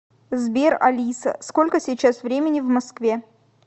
сбер алиса сколько сейчас времени в москве